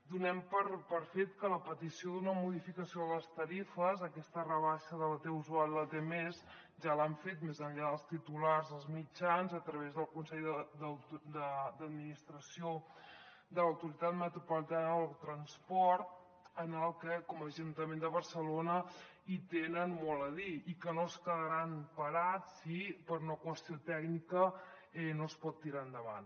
donem per fet que la petició d’una modificació de les tarifes aquesta rebaixa de la t usual i la t mes ja l’han fet més enllà dels titulars als mitjans a través del consell d’administració de l’autoritat metropolitana del transport en el que com a ajuntament de barcelona hi tenen molt a dir i que no es quedaran parats si per una qüestió tècnica no es pot tirar endavant